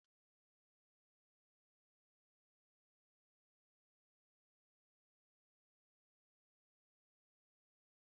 Ụzọ nkwadebe maka ofe na-eji ihe dị iche iche dị na mpaghara na usoro esi nri.